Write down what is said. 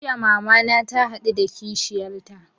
Jiya mama na ta haɗu da kishiyar ta